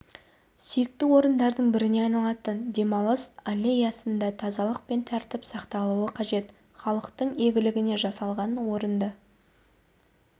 сүйікті орындарының біріне айналатын демалыс аллеясында тазалық пен тәртіп сақталуы қажет халықтың игілігіне жасалған орынды